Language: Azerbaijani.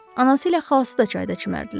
Anası ilə xalası da çayda çimərdilər.